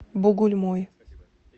бугульмой